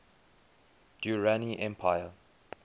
durrani empire